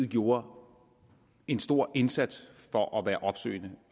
gjorde en stor indsats for at være opsøgende